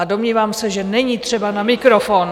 A domnívám se, že není třeba na mikrofon.